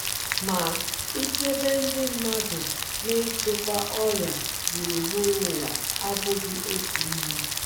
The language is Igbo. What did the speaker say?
Ma, ichebe ndị mmadụ na ịchịkwa ọrịa gburugburu ụwa abụghị otu ihe.